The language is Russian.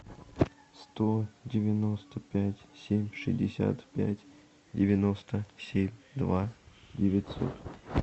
сто девяносто пять семь шестьдесят пять девяносто семь два девятьсот